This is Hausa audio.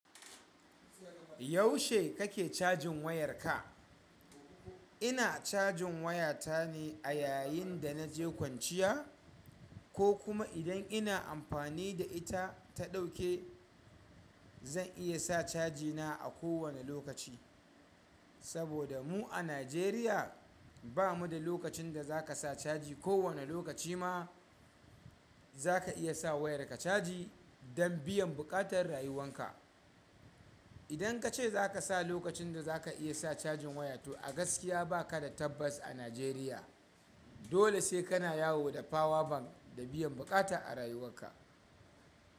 Yaushe kake cajin wayar ka? Ina cajin waya ta ne a yayin da naje kwanciya ko kuma idan ina amfani da ita ta ɗauke. Zan iya sa caji na a kowane lokaci. Saboda mu a Najeriya ba mu da lokacin da za ka sa caji. Ko wane lokaci ma za ka iya sa wayarka caji don biyan buƙatar rayuwan ka. Idan ka ce za ka sa lokacin da za ka iya sa cajin waya, to a gaskiya ba ka da tabbas a Najeriya. Dole sai kana yawo da power bank da biyan bukata a rayuwa ka.